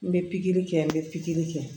N bɛ pikiri kɛ n bɛ pikiri kɛ